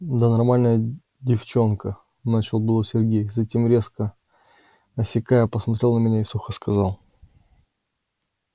да нормальная девчонка начал было сергей затем резко осекая посмотрел на меня сухо и сказал